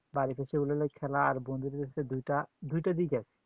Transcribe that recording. বাড়িতে বসে online এ খেলা আর বন্ধুদের হচ্ছে দুটা দুইটা দিক আছে